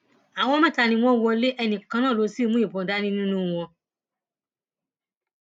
àwọn mẹta ni wọn wọlé ẹnì kan náà ló sì mú ìbọn dání nínú wọn